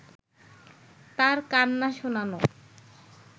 তার কান্না শোনানো